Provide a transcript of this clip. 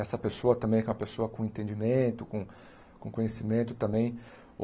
Essa pessoa também é uma pessoa com entendimento, com com conhecimento também.